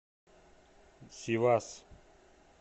сивас